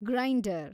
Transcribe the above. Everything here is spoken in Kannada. ಗ್ರೈಂಡರ್